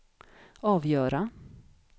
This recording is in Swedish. avgöra